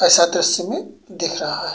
ऐसा दृश्य में दिख रहा है।